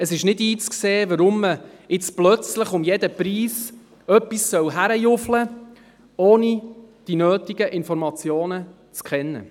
Es ist nicht einzusehen, weshalb man jetzt plötzlich um jeden Preis überstürzt handeln soll, ohne die nötigen Informationen zu kennen.